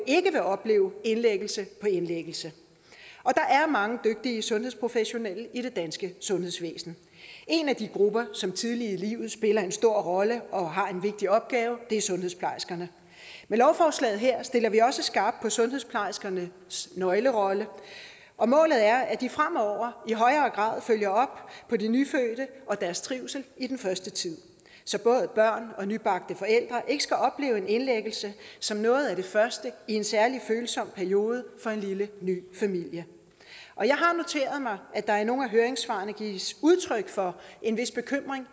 ikke vil opleve indlæggelse på indlæggelse der er mange dygtige sundhedsprofessionelle i det danske sundhedsvæsen en af de grupper som tidligt i livet spiller en stor rolle og har en vigtig opgave er sundhedsplejerskerne med lovforslaget her stiller vi også skarpt på sundhedsplejerskernes nøglerolle og målet er at de fremover i højere grad følger op på de nyfødte og deres trivsel i den første tid så både børn og nybagte forældre ikke skal opleve en indlæggelse som noget af det første i en særlig følsom periode for en lille ny familie jeg har noteret mig at der er i nogle af høringssvarene gives udtryk for en vis bekymring